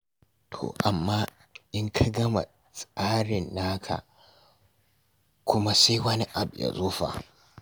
To amma in ka gama tsarin naka kuma sai wani abu ya zo fa?